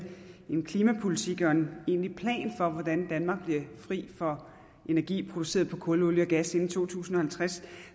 en klimapolitik og en egentlig plan for hvordan danmark bliver fri for energi produceret på kul olie og gas inden to tusind og halvtreds